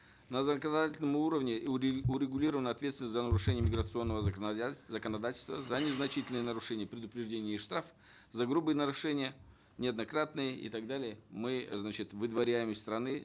на законодательном уровне урегулирована ответственность за нарушение миграционного законодательства за незначительные нарушения предупреждение и штраф за грубые нарушения неоднократные и так далее мы значит выдворяем из страны